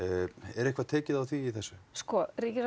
er eitthvað tekið á því í þessu sko